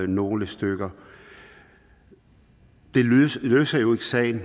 nogle stykker det løser jo ikke sagen